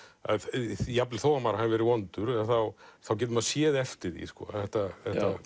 jafnvel þó að maður hafi verið vondur þá getur maður séð eftir því þetta